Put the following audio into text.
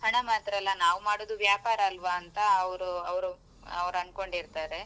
ಹಣ ಮಾತ್ರಲ್ಲಾ ನಾವು ಮಾಡುದು ವ್ಯಾಪಾರ ಆಲ್ವಾ ಅಂತ ಅವ್ರು ಅವ್ರು ಅವ್ರ್ ಅನ್ಕೊಂಡಿರ್ತಾರೆ.